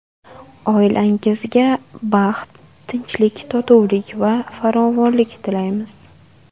Oilangizga baxt, tinchlik-totuvlik va farovonlik tilaymiz.